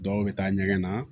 Dɔw bɛ taa ɲɛgɛn na